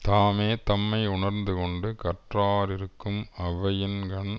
தாமே தம்மையுணர்ந்துகொண்டு கற்றார் இருக்கும் அவையின்கண்